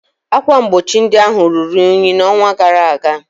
Ákwà mgbochi ndị ahụ ruru unyi n'ọnwa gara aga